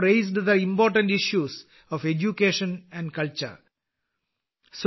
വിദ്യാഭ്യാസത്തിന്റെയും സംസ്കാരത്തിന്റെയും പ്രധാന പ്രശ്നങ്ങൾ താങ്കൾ ഉന്നയിച്ചതിൽ എനിക്കും സന്തോഷമുണ്ട്